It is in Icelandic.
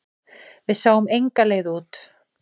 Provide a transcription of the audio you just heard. Við sáum enga leið út.